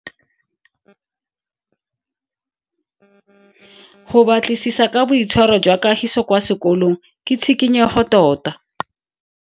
Go batlisisa ka boitshwaro jwa Kagiso kwa sekolong ke tshikinyego tota.